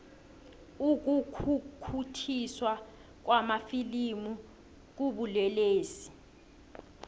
ukukhukhuthiswa kwamafilimu kubulelesi